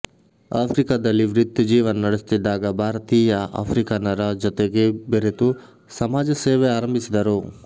ಆಫ್ರಿಕಾದಲ್ಲಿ ವೃತ್ತಿ ಜೀವನ ನಡೆಸುತ್ತಿದ್ದಾಗ ಭಾರತೀಯ ಆಫ್ರಿಕನರ ಜತೆ ಬೆರೆತು ಸಮಾಜಸೇವೆ ಆರಂಭಿಸಿದರು